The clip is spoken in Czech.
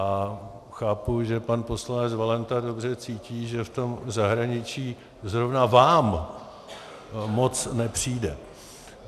A chápu, že pan poslanec Valenta dobře cítí, že v tom zahraničí zrovna vám moc nepřijde.